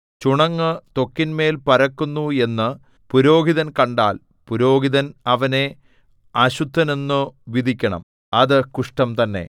ചുണങ്ങു ത്വക്കിന്മേൽ പരക്കുന്നു എന്നു പുരോഹിതൻ കണ്ടാൽ പുരോഹിതൻ അവനെ അശുദ്ധനെന്നു വിധിക്കണം അത് കുഷ്ഠം തന്നെ